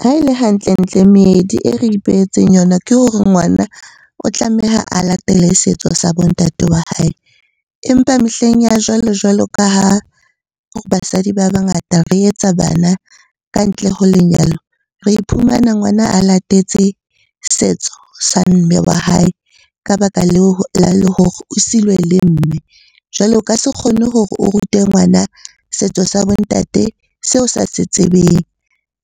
Ha e le hantle-ntle meedi e re ipehetseng yona ke hore ngwana o tlameha a latele setso sa bo ntate wa hae. Empa mehleng ya jwalo- jwalo ka ha basadi ba bangata re etsa bana ka ntle ho lenyalo. Re iphumana ngwana a latetse setso sa mme wa hae ka baka leo hore o siilwe le mme. Jwale o ka se kgone hore o rute ngwana setso sa bo ntate seo sa se tsebeng